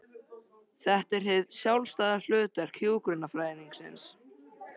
Þetta er hið sjálfstæða hlutverk hjúkrunarfræðingsins.